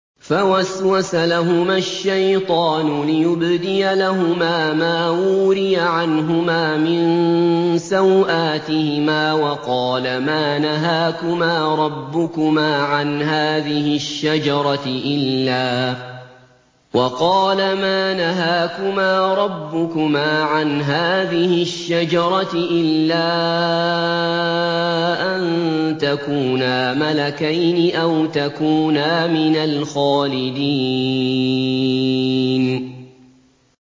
فَوَسْوَسَ لَهُمَا الشَّيْطَانُ لِيُبْدِيَ لَهُمَا مَا وُورِيَ عَنْهُمَا مِن سَوْآتِهِمَا وَقَالَ مَا نَهَاكُمَا رَبُّكُمَا عَنْ هَٰذِهِ الشَّجَرَةِ إِلَّا أَن تَكُونَا مَلَكَيْنِ أَوْ تَكُونَا مِنَ الْخَالِدِينَ